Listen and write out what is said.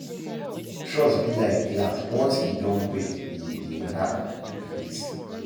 Trust be like glass, once e don break, e de dey hard to fix